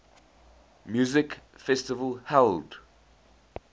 music festival held